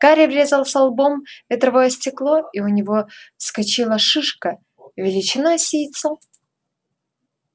гарри врезался лбом в ветровое стекло и у него вскочила шишка величиной с яйцо